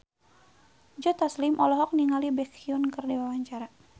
Joe Taslim olohok ningali Baekhyun keur diwawancara